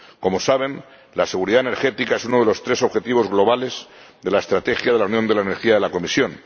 Como saben, la seguridad energética es uno de los tres objetivos globales de la Estrategia de la Unión de la Energía de la Comisión.